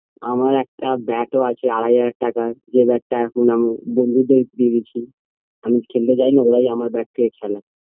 আমার একটা bat ও আছে আড়াই হাজার টাকায় যে bat -টা এখন আমি বন্ধুদের দিয়ে দিয়েছি আমি তো খেলতে যাইনি ওরাই আমার bat দিয়ে খেলে